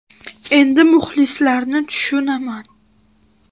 Endi muxlislarni tushunaman.